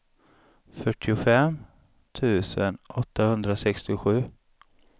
fyrtiofem tusen åttahundrasextiosju